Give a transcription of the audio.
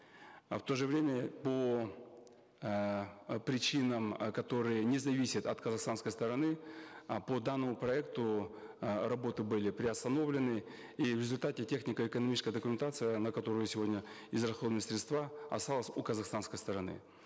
э в то же время по эээ причинам э которые не зависят от казахстанской стороны э по данному проекту э работы были приостановлены и в результате технико экономическая документация на которую сегодня израсходованы средства осталась у казахстанской стороны